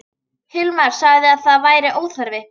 Hilmar sagði að það væri óþarfi.